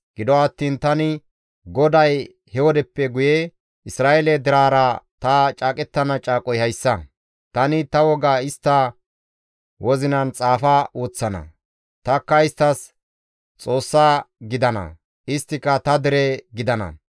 «Gido attiin tani GODAY he wodeppe guye Isra7eele deraara ta caaqettana caaqoy hayssa; tani ta woga istta wozinan xaafa woththana; tanikka isttas Xoossa gidana; isttika ta dere gidana.